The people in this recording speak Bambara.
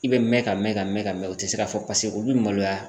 bɛ mɛn ka mɛn ka mɛn ka mɛn u ti se ka fɔ paseke u bɛ maloya.